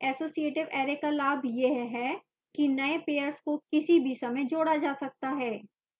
associative array का लाभ यह है कि नए pairs को किसी भी समय जोड़ा जा सकता है